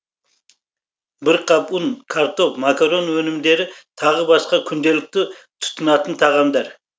бір қап ұн картоп макарон өнімдері тағы басқа күнделікті тұтынатын тағамдар